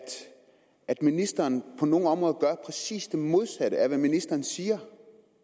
at ministeren på nogle områder gør præcis det modsatte af hvad ministeren siger